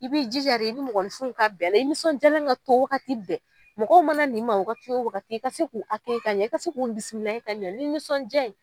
I b'i jija de i ni mɔgɔnifin ka bɛn a la; i nisɔndiyalen ka to wagati bɛ, mɔgɔ mana na i ma wagati o wagati, i ka se k'u ka ɲɛ i ka se k'u bisimala ka ɲɛ ni nisɔndiya ye.